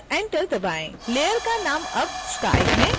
layer का नाम अब sky है